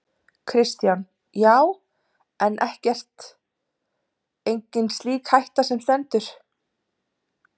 Kristján: Já, en ekkert, engin slík hætta sem stendur?